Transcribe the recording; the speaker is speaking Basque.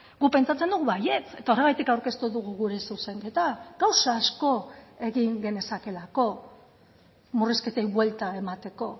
guk pentsatzen dugu baietz eta horregatik aurkeztu dugu gure zuzenketa gauza asko egin genezakeelako murrizketei buelta emateko